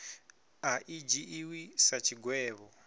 a i dzhiiwi sa tshigwevho